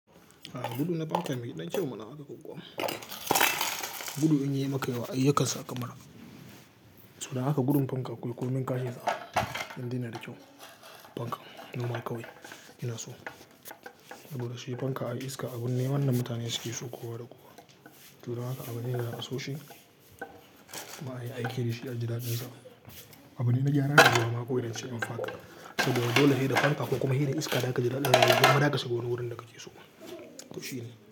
A'a, gudu na fanka me ɗan kyau mana haka ko kuwa. Gudu in yayi maka yawa ai yakan saka mura. To don haka gudun fanka kul, kuyi min ka iza, indai yanada kyau fanka. Normal ka wai ina so. Saboda shi fanka, ai iska abun ne wanda mutane suke so kowa da kowa. Jure haka abu ne mai amsoshi. Ma ai, aiki da shi a ji daɗinsa. Abu ne na gyaran hada yamma ko idan ince maka fada. Saboda dole heɗa fanta ko kuma heɗe iska da aka ji daɗi da ya ji daɗa kasugona wurin da ka ke so. Tushine.